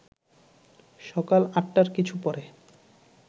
সকাল আটটার কিছু পরে